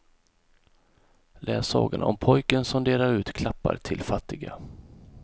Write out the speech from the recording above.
Läs sagan om pojken som delar ut klappar till fattiga.